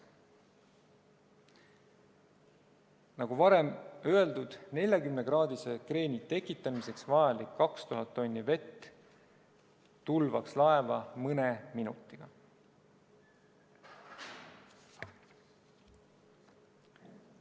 Nagu varem öeldud, 40-kraadise kreeni tekitamiseks vajalik 2000 tonni vett tulvaks laeva mõne minutiga.